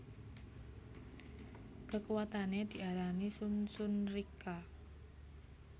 Kekuwatane diarani Shun Shun Rikka